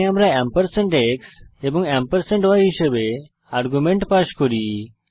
এখানে আমরা ampersand x এবং এম্পারস্যান্ড y হিসাবে আর্গুমেন্ট পাস করি